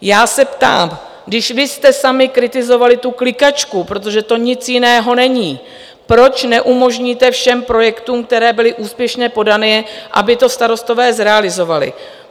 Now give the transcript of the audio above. Já se ptám, když vy jste sami kritizovali tu klikačku - protože to nic jiného není - proč neumožníte všem projektům, které byly úspěšně podané, aby to starostové zrealizovali?